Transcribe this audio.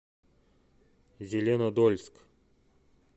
зеленодольск